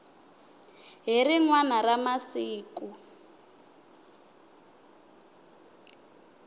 hi rin wana ra masiku